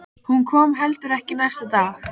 Hún kom heldur ekki næsta dag.